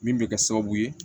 Min bɛ kɛ sababu ye